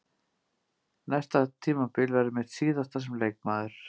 Næsta tímabil verður mitt síðasta sem leikmaður.